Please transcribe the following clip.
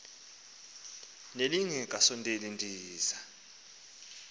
nelinge kasondeli ndiza